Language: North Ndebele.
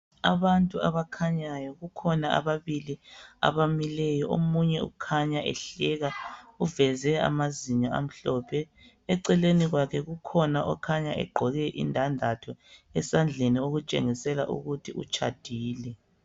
Abantu abakhanyayo, kukhona ababili abamileyo, omunye ukhanya ehleka, uveze amazinyo amhlophe. Eceleni kwakhe, kukhona okhanya egqoke indandatho esandleni okutshengisela ukuthi utshadile.